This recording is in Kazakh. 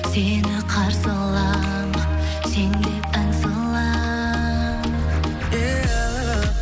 сені қарсы алам сен деп ән салам